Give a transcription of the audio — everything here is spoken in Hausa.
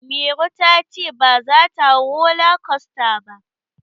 Mairo ta ce baza ta hau roller coaster ba.